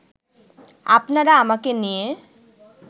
আপনারা আমাকে নিয়ে